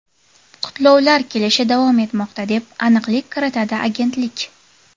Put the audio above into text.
Qutlovlar kelishi davom etmoqda, deb aniqlik kiritadi agentlik.